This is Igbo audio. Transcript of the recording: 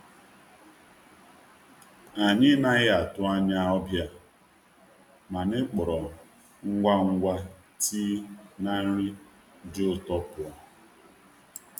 Anyị anaghị atụ anya ndị ọbịa, mana anyị wepụtara tii na ihe ụtọ ngwa ngwa. ụtọ ngwa ngwa.